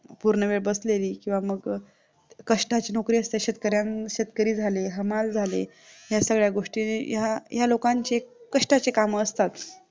पूर्णवेळ बसलेली किंवा मग कष्टाची नोकरी असते शेतकरी झाले हमाल झाले ह्या सगळ्या गोष्टी ह्या लोकांची कष्टाचे काम असतात